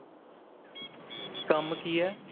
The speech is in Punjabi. ਕੰਮ ਕੀ ਹੈ